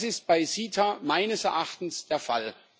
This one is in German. Das ist bei CETA meines Erachtens der Fall.